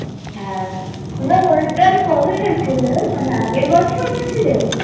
হ্যাঁ তোমরা হরিদ্বার কবে গেছিলে? মানে আগের বছর গেছিলে?